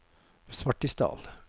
Svartisdal